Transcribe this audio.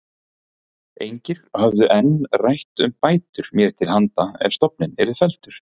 Engir höfðu enn rætt um bætur mér til handa ef stofninn yrði felldur.